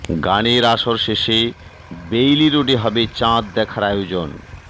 গানের আসর শেষে বেইলি রোডে হবে চাঁদ দেখার আয়োজন